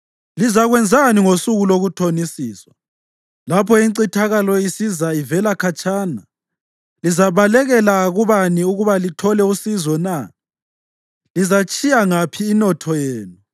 Lizakwenzani ngosuku lokuthonisiswa lapho incithakalo isiza ivela khatshana? Lizabalekela kubani ukuba lithole usizo na? Lizayitshiya ngaphi inotho yenu?